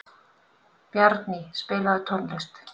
Bjarný, spilaðu tónlist.